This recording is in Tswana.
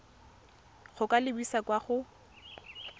go ka lebisa kwa go